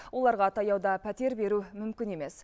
оларға таяуда пәтер беру мүмкін емес